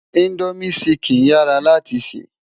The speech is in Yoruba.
Indómi ṣìkín yárá láti sè